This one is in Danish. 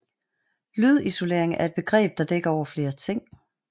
Lydisolering er et begreb der dækker over flere ting